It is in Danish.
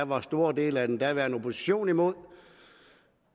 var store dele af den daværende opposition imod